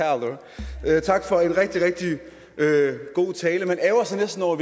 eina tak for en rigtig rigtig god tale man ærgrer sig næsten over